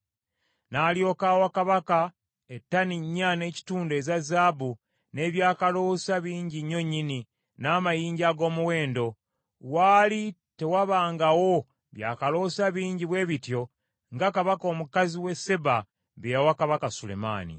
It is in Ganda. N’alyoka awa kabaka ettani nnya n’ekitundu eza zaabu, n’ebyakaloosa bingi nnyo nnyini, n’amayinja ag’omuwendo. Waali tewabangawo bya kaloosa bingi bwe bityo nga Kabaka omukazi w’e Seeba bye yawa kabaka Sulemaani.